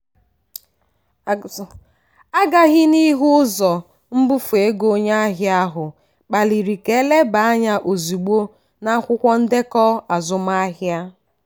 agaghị n'ihu ụzọ mbufe ego onye ahịa ahụ kpaliri ka a leba anya ozugbo n'akwụkwọ ndekọ azụmahịa.